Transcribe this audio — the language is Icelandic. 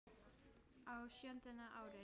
Á sjöunda ári